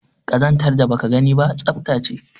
Kazantar da baka gani ba tsafta ce